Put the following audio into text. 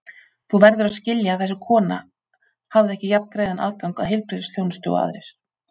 Þú verður að skilja að þessi kona hafði ekki jafngreiðan aðgang að heilbrigðisþjónustu og aðrir.